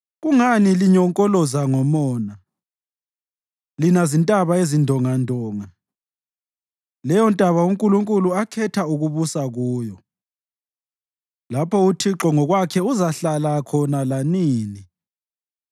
Kungani linyonkoloza ngomona, lina zintaba ezindongandonga, leyontaba uNkulunkulu akhetha ukubusa kuyo, lapho uThixo ngokwakhe uzahlala khona lanini?